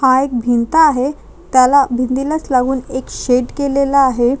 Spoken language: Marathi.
हा एक भिंत आहे त्याला भिंतीलाच लागून एक शेड केलेलं आहे.